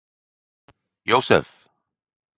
Jósef